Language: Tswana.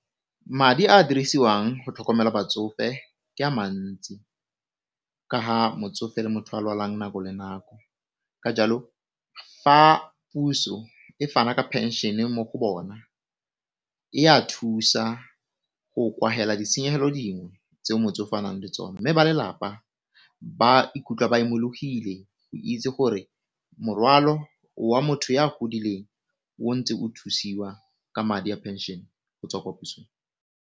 Madi a dirisiwang go tlhokomela batsofe ke a mantsi kaga motsofe e le motho a lwalang nako le nako ka jalo fa puso e fana ka pension mo go bona ea thusa go ditshenyegelo dingwe tseo motsofe a nang le tsone, mme ba lelapa ba ikutlwa ba imologile o itse gore morwalo wa motho ya godileng o ntse o thusiwa ka madi a pension go tswa ko pusong.